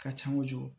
Ka ca kojugu